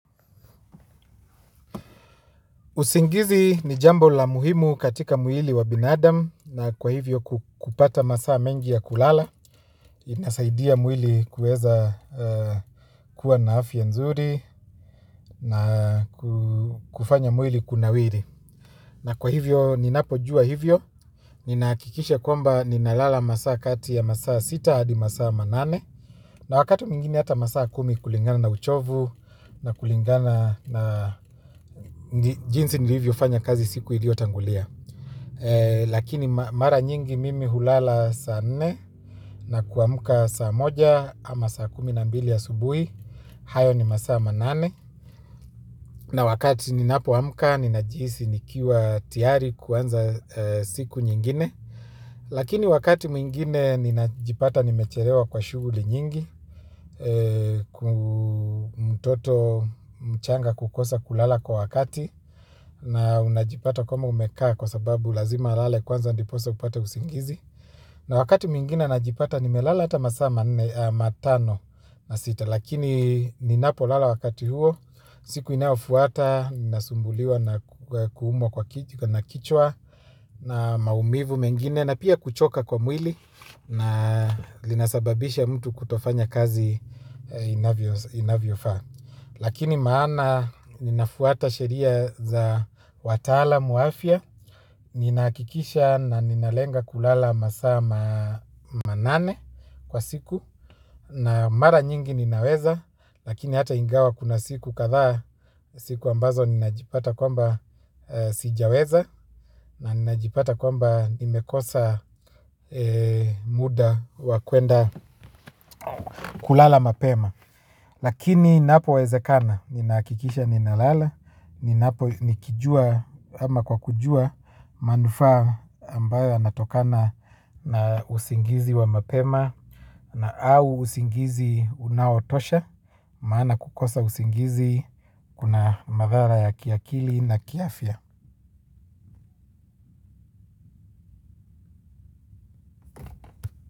Uzingizi ni jambo la muhimu katika mwili wa binadam na kwa hivyo kupata masaa mengi ya kulala inasaidia mwili kuweza kuwa na afya nzuri na kufanya mwili kunawili. Na kwa hivyo ninapo jua hivyo, ninahakikisha kwamba ninalala masaa kati ya masaa sita hadi masaa manane na wakat mwingiei hata masaa kumi kulingana na uchovu na kulingana na jinsi nilivyo fanya kazi siku ilio tangulia. Lakini mara nyingi mimi hulala saa nne na kuamka saa moja ama saa kumi na mbili ya asubuhi. Hayo ni masaa manane na wakati ninapoamuka ninajihisi nikiwa tiyari kuanza siku nyingine. Lakini wakati mwingine ninajipata nimechelewa kwa shughuli nyingi. Kuna mtoto mchanga kukosa kulala kwa wakati. Na unajipata kama umekaa kwa sababu lazima alale kwanza ndiposa upate usingizi. Na wakati mwingina najipata nimelala hata masaa manne matano na sita. Lakini ninapo lala wakati huo. Siku inayofuata, nasumbuliwa na kuumwa kwa kichwa. Na maumivu mengine na pia kuchoka kwa mwili. Na linasababisha mtu kutofanya kazi inavyofa. Lakini maana ninafuata sheria za watalamu wa afya. Ninahakikisha na ninalenga kulala masaa manane kwa siku. Na mara nyingi ninaweza. Lakini hata ingawa kuna siku kadha siku ambazo ninajipata kwamba sijaweza na ninajipata kwamba nimekosa muda wakuenda kulala mapema. Lakini inapowezekana ninahakikisha ninalala. Ninapo nikijua ama kwa kujua manufa ambayo yanatokana na usingizi wa mapema na au usingizi unaotosha maana kukosa usingizi kuna madhara ya kiakili na kiafya.